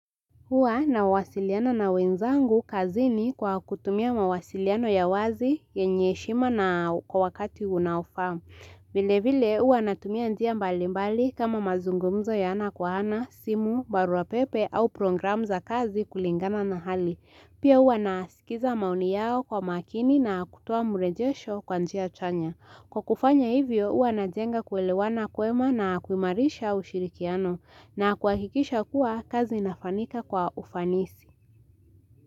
Huwa nawasiliana na wenzangu kazi ni kwa kutumia mawasiliano ya wazi yenye heshima na kwa wakati unaofaa. Vile vile huwa natumia njia mbali mbali kama mazungumzo ya ana kwa ana, simu, barua pepe au programu za kazi kulingana na hali. Pia huwa nasikiza maoni yao kwa makini na kutoa mrejesho kwa njia chanya. Kwa kufanya hivyo hua najenga kuelewana kwema na kuimarisha ushirikiano na kuhakikisha kuwa kazi inafanyika kwa ufanisi.